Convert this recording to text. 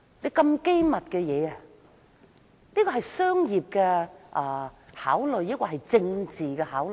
所謂機密，是出於商業還是政治考慮？